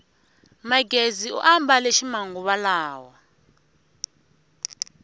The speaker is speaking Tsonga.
magezi u ambale ximanguva lawa